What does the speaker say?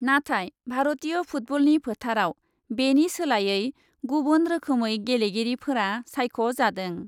नाथाय भारतीय फुटबलनि फोथारआव बेनि सोलायै गुबुन रोखोमै गेलेगिरिफोरा सायख ' जादों ।